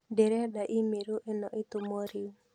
Ndĩrenda i-mīrū ĩno ĩtũmwo rĩu